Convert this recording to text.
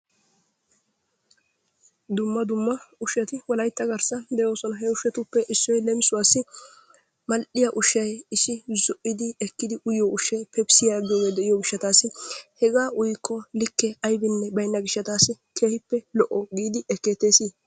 Dumma dumma ushshati Wolaytta garssan de'oosona. He ushshatuppe leemissuwassi: mal"iya ushshay iissi issi ekkidi uyiyo ushshay, pepisiya giyogee de'iyo gishshataassi hegaa uyikko likke aybinne baynna gishshataassi keehippe lo"o giidi ekkeetteesi